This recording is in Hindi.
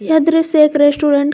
यह दृश्य एक रेस्टोरेंट --